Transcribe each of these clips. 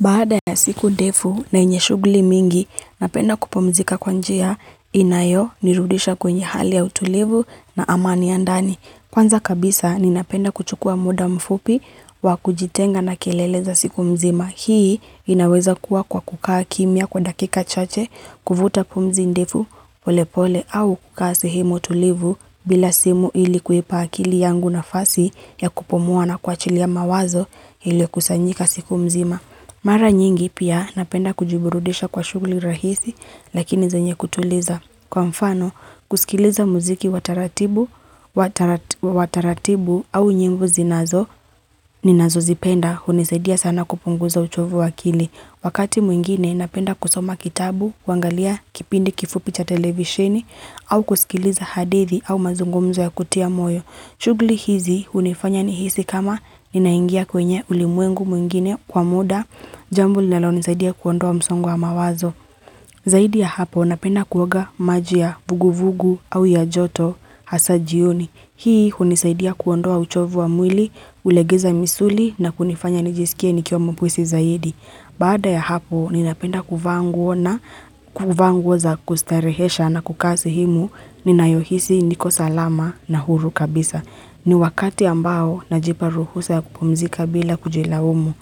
Baada ya siku ndefu na yenye shugli mingi, napenda kupumzika kwa njia inayo, nirudisha kwenye hali ya utulivu na amani ya ndani. Kwanza kabisa, ninapenda kuchukua muda mfupi wa kujitenga na kelele za siku mzima. Hii inaweza kuwa kwa kukaa kimya kwa dakika chache, kuvuta pumzi ndefu pole pole au kukaa sehemu utulivu bila simu ili kuipa akili yangu nafasi ya kupumua na kuwachilia mawazo ilio kusanyika siku mzima. Mara nyingi pia napenda kujiburudisha kwa shugli rahisi, lakini zanye kutuliza. Kwa mfano, kusikiliza muziki wa taratibu au nyingu zinazo, ninazo zipenda, unisaidia sana kupunguza uchovu wakili. Wakati mwingine, napenda kusoma kitabu, kuangalia, kipindi kifupi cha televisheni, au kusikiliza hadithi au mazungumzo ya kutia moyo. Shugli hizi hunifanya nihisi kama ninaingia kwenye ulimwengu mwingine kwa muda, jambo linalo nisaidia kuondoa msongo wa mawazo. Zaidi ya hapo napenda kuoga maji ya vuguvugu au ya joto hasa jioni. Hii hunisaidia kuondoa uchovu wa mwili, ulegeza misuli na kunifanya nijisikie nikiwa mwepesi zaidi. Baada ya hapo ninapenda kuvaa nguo na kuva nguo za kustarehesha na kuka sehemu ninayohisi niko salama na huru kabisa. Ni wakati ambao najipa ruhusa ya kupumzika bila kujilaumu.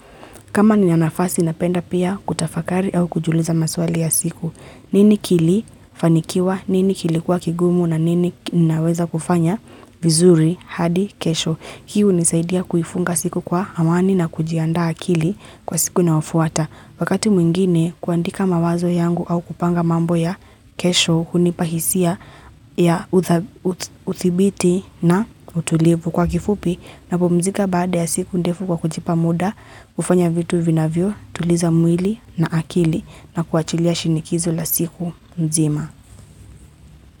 Kama ninafasi napenda pia kutafakari au kujiuliza maswali ya siku. Nini kilifanikiwa, nini kilikuwa kigumu na nini naweza kufanya vizuri hadi kesho. Hii unisaidia kuifunga siku kwa amani na kujiandaa akili kwa siku inayofuata. Wakati mwingine kuandika mawazo yangu au kupanga mambo ya kesho hunipa hisia ya uthibiti na utulivu kwa kifupi napumzika baada ya siku ndefu kwa kujipa muda, kufanya vitu vinavyo, tuliza mwili na akili na kuachilia shinikizo la siku mzima.